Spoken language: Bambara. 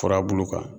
Furabulu kan